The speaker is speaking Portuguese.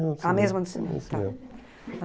a mesma do cinema, é. A mesma do cinema, tá.